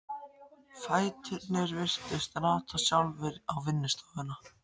Fæturnir virtust rata sjálfir á vinnustofuna.